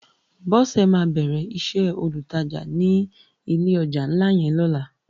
Bose má bèrè isè ólútàjá ni ilé òjá nlá yèn lòlá